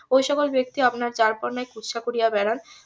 ওই সকল ব্যক্তি আপনার যার পর নাই কুৎসা করিয়া বেড়ান